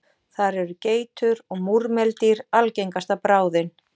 Þar eru geitur og múrmeldýr algengasta bráðin.